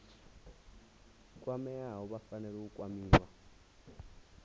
kwameaho vha fanela u kwamiwa